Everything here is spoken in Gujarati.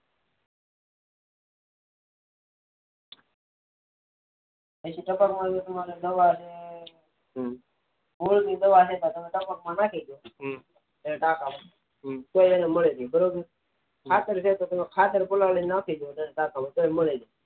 પછી ટપક માં માટે દવા નાખીતો ભૂલથી ટપક માં નાખી ટકામાં તો પણ એને મળે છે બરોબર ખાતર ખોલીન નાખી દો તો પણ ખાતર મળે છે